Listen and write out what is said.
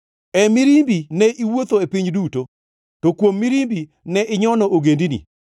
E mirimbi ne iwuotho e piny duto, to kuom mirimbi ne inyono ogendini.